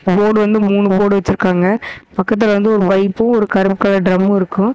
Board வந்து மூணு board வச்ருக்காங்க பக்கத்ல வந்து ஒரு பைப்பு ஒரு கருப் கலர் ட்ரம்மு இருக்கு.